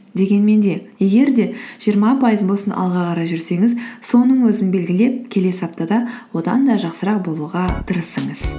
дегенмен де егер де жиырма пайыз болсын алға қарай жүрсеңіз соның өзін белгілеп келесі аптада одан да жақсырақ болуға тырысыңыз